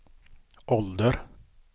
ålder